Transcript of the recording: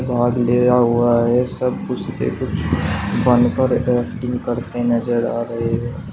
हुआ है। सब खुशी से कुछ बनकर एक्टिंग करते नजर आ रहे हैं।